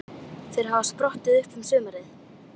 Þeir hafa sprottið upp um sumarið.